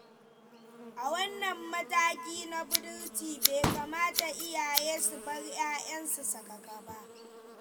A wannan mataki na budurci bai kamata iyaye su bar ƴaƴansu sakaka ba.